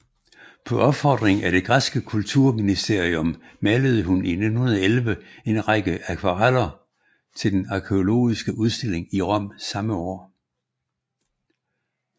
På opfordring af det græske kulturministerium malede hun 1911 en række akvareller til den arkæologiske udstilling i Rom samme år